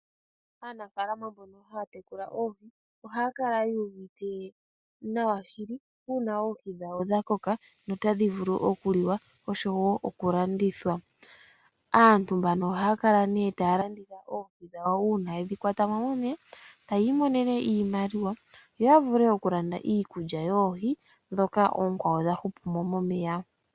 Aanafalama mboka ha ya tekula oohi, ohaya kala yu uvite nawa shili, uuna oohi dhawo dha koka nota dhi vulu oku liwa osho wo oku landithwa. Aantu mbano ohaya kala taya landitha oohi dhawo uuna ye dhi kwata mo momeya ta ya imonene iimaliwa , yo ya vule oku landa iikulya yoohi ndhoka oonkwawo dha hu pu mo momeya.